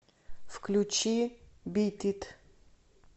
включи бит ит